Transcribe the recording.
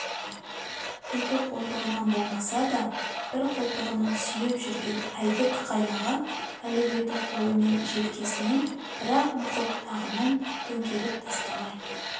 екі қолтығынан болмаса да бір қолтығынан сүйеп жүрген әйдік қайнаға әлеуетті қолымен желкесінен бір-ақ нұқып тағынан төңкеріп тастамай